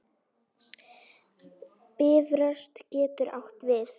Bifröst getur átt við